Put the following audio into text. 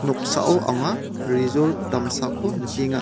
noksao anga rejort damsako nikenga.